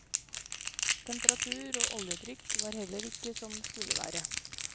Temperatur og oljetrykk var heller ikke som det skulle være.